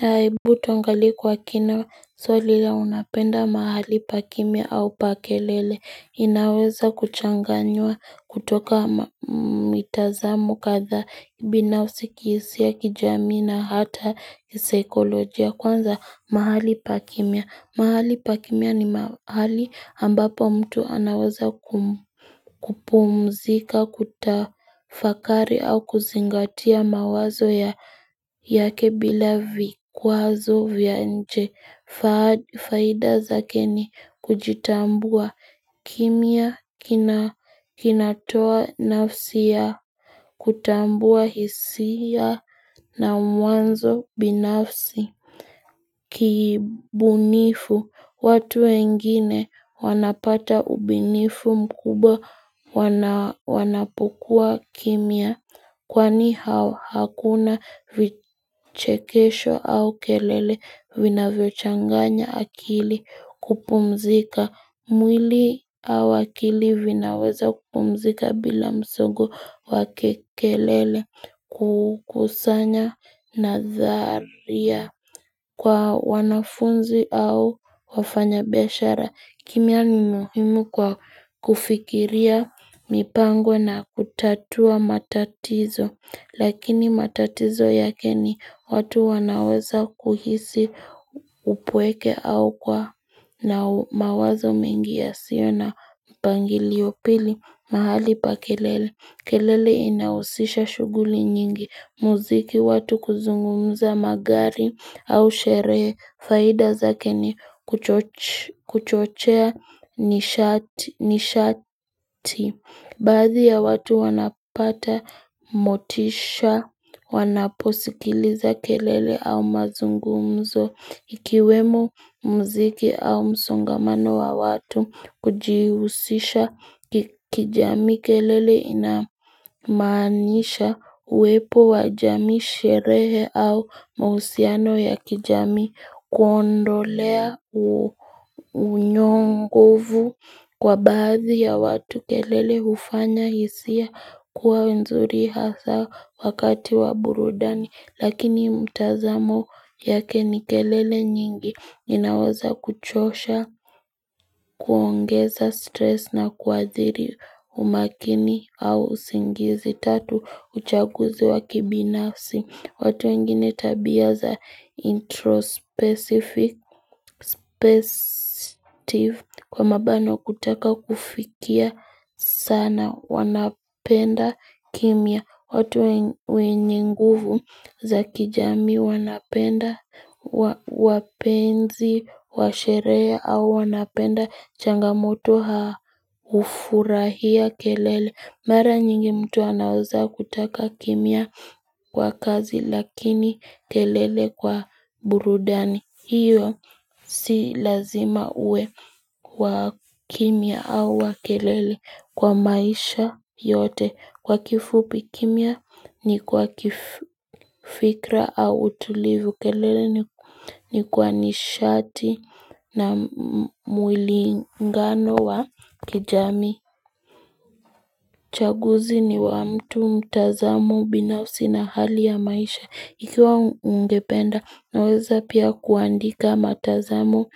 Hebu tuangalie kwa kina swali ya unapenda mahali pa kimya au pa kelele inaweza kuchanganywa kutoka mitazamo kadhaa binafsi kihisia kijamii na hata kisaikolojia kwanza mahali pa kimya mahali pa kimya ni mahali ambapo mtu anaweza kupumzika kutafakari au kuzingatia mawazo yake bila vikwazo vya nje faida zake ni kujitambua kimya kinatoa nafsi ya Kutambua hisia na mwanzo binafsi Kibunifu watu wengine wanapata ubunifu mkubwa wanapokua kimya Kwani hakuna vichekesho au kelele vinavyochanganya akili kupumzika mwili au akili vinaweza kupumzika bila msongo wa kelele kukusanya nadharia Kwa wanafunzi au wafanyabiashara kimya ni muhimu kwao kufikiria mipango na kutatua matatizo Lakini matatizo yake ni watu wanaweza kuhisi upweke au kuwa na mawazo mengi yasio na mpangilio pili mahali pa kelele kelele inahusisha shughuli nyingi, muziki watu kuzungumza magari au sherehe, faida zake ni kuchochea nishati Baadhi ya watu wanapata motisha wanaposikiliza kelele au mazungumzo ikiwemo mziki au msongamano wa watu kujihusisha kijamii kelele inamaanisha uwepo wa jamii sherehe au mahusiano ya kijamii kuondolea unyongovu Kwa baadhi ya watu kelele hufanya hisia kuwa nzuri hasa wakati wa burudani Lakini mtazamo yake ni kelele nyingi inaweza kuchosha kuongeza stress na kuathiri umakini au usingizi Tatu uchaguzi wa kibinafsi watu wengine tabia za introspecific Kwa mabano kutaka kufikia sana wanapenda kimya watu wenye nguvu za kijamii wanapenda wapenzi wa sherehe au wanapenda Changamoto hufurahia kelele Mara nyingi mtu anaweza kutaka kimya kwa kazi lakini kelele kwa burudani hiyo si lazima uwe wa kimya au wa kelele kwa maisha yote Kwa kifupi kimya ni kwa kifikra au tulivu kelele ni kwa nishati na mwilingano wa kijamii uchaguzi ni wa mtu mtazamo binafsi na hali ya maisha. Ikiwa ungependa naweza pia kuandika matazamo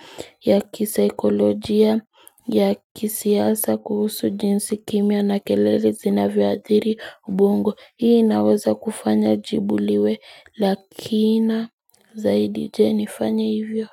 ya kisaikolojia ya kisiasa kuhusu jinsi kimya na kelele zinavyoathiri ubongo. Hii inaweza kufanya jibu liwe la kina zaidi je nifanye hivyo.